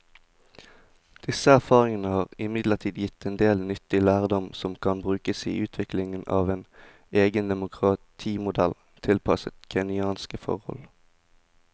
Disse erfaringene har imidlertid gitt en del nyttig lærdom som kan brukes i utviklingen av en egen demokratimodell tilpasset kenyanske forhold.